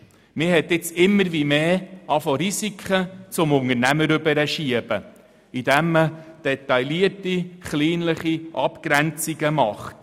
Durch detaillierte, kleinliche Abgrenzungen hat man vermehrt Risiken dem Unternehmer zugeschoben.